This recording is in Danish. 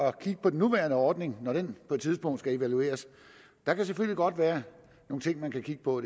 at kigge på den nuværende ordning når den på et tidspunkt skal evalueres der kan selvfølgelig godt være nogle ting man kan kigge på